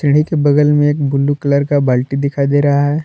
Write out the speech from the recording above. सीढ़ी के बगल में एक ब्लू कलर का बाल्टी दिखाई दे रहा है।